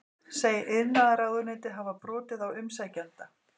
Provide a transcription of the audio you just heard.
Segir iðnaðarráðuneytið hafa brotið á umsækjanda